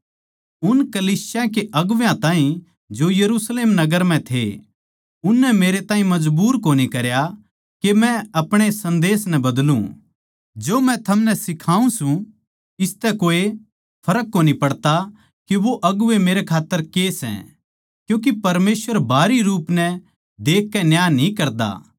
उन कलीसिया के अगुवां ताहीं जो यरुशलेम नगर म्ह थे उननै मेरे ताहीं मजबूर कोनी करया के मै अपणे सन्देस नै बदलु जो मै थमनै सिखाऊँ सूं इसतै कोए फर्क कोनी पड़ता के वो अगुवें मेरे खात्तर के सै क्यूँके परमेसवर बाहरी रूप नै देखकै न्याय न्ही करता